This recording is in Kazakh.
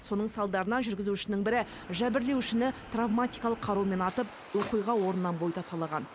соның салдарынан жүргізушінің бірі жәбірленушіні травматикалық қарумен атып оқиға орнынан бой тасалаған